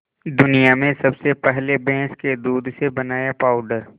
दुनिया में सबसे पहले भैंस के दूध से बनाया पावडर